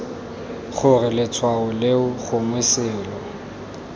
gore letshwao leo gongwe selo